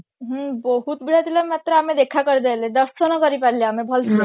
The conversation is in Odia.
ହୁଁ ବହୁତ ଭିଡ ଥିଲା ମାତ୍ର ଆମେ ଦେଖା କରି ଦେଇ ଆଇଲେ ଦର୍ଶନ କରି ପାରିଲେ ଆମେ ଭଲସେ